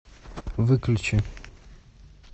выключи